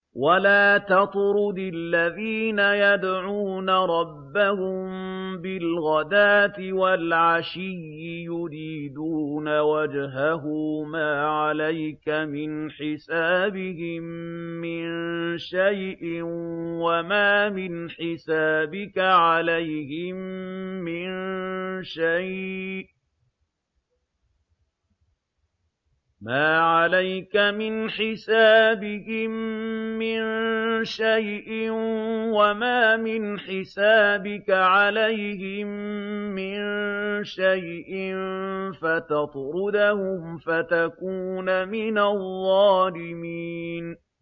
وَلَا تَطْرُدِ الَّذِينَ يَدْعُونَ رَبَّهُم بِالْغَدَاةِ وَالْعَشِيِّ يُرِيدُونَ وَجْهَهُ ۖ مَا عَلَيْكَ مِنْ حِسَابِهِم مِّن شَيْءٍ وَمَا مِنْ حِسَابِكَ عَلَيْهِم مِّن شَيْءٍ فَتَطْرُدَهُمْ فَتَكُونَ مِنَ الظَّالِمِينَ